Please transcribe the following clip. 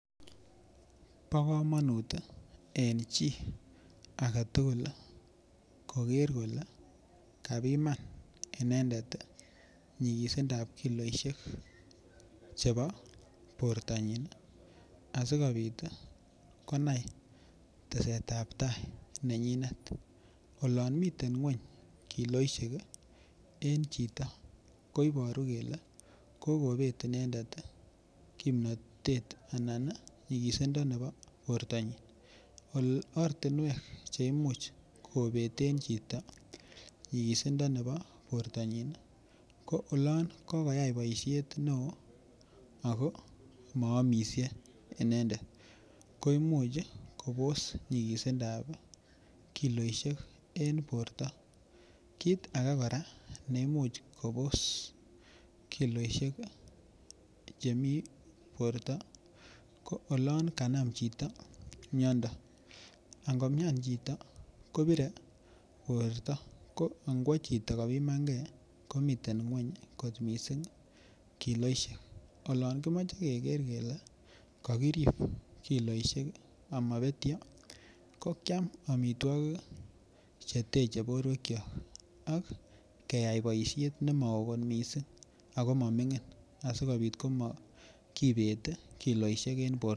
Bo kamanut en chi agetugul koger kole kapiman inendet nyikisindab kilosiek chebo bortanyin asigopit konai tesetab tai nenyinet. Olan miten ngwony kiloisiek en chito ko ibaru kele kogobet inendet kimnatet anan nyikisisondo nebo bortanyin. Ortinuek che imuch kobeten chito nyisindo nebo bortanyin ko olan kokoyai boisiet neo ago maamisie inendet ko imuch kobos nyisindab kiloisiek en borto. Kit age kora neimuch kobos kiloisiek chemi borto ko olon kanam chito miondo. Angomian chito kobire borto ko angwo chito kobiman nge komiten ngwony kot mising kiloisiek. Olon kimoche keger kole kakirip kiloisiek amabetyo ko kiam amitwogik cheteche borwekyok ak keyai boisiet nemao kot mising ago mamingin asigopit komatkibet. Kilosiek en borto.